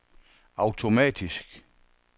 automatisk